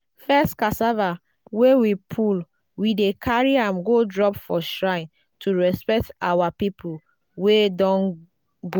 first cassava wey we pull we dey carry am go drop for shrine to respect our people wey don go.